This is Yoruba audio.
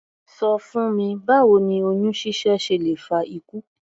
Ṣọ fún mi báwo ni oyún ṣíṣẹ́ ṣe lè fa ikú?